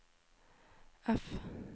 F